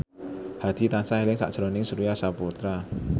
Hadi tansah eling sakjroning Surya Saputra